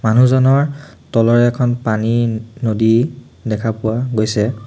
মানুহজনৰ তলত এখন পানী নদী দেখা পোৱা গৈছে।